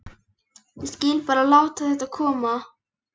Ég skyldi bara láta þetta koma.